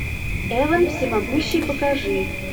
эван всемогущий покажи